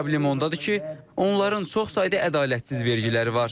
Problem ondadır ki, onların çox sayda ədalətsiz vergiləri var.